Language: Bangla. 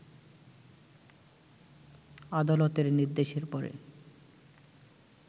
আদালতের নির্দেশের পরে